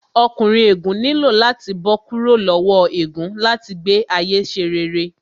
Ọkùnrin ègún nílò láti bó kúrò lowo ègún láti gbé ayé ṣe rere